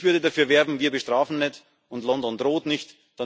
Ich würde dafür werben Wir bestrafen nicht, und London droht nicht.